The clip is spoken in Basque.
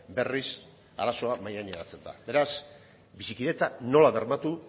berriz arazoa mahaigaineratzen da beraz bizikidetza nola bermatu